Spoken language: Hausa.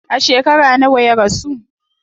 A shekara nawa ya rasu?